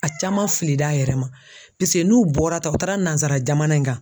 A caman filila a yɛrɛ ma n'u bɔra tan ,u taara nanzara jamana in kan